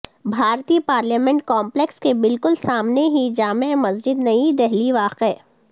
بھارتی parliament complex کے بالکل سامنے ہی جامع مسجد نئی دہلی واقع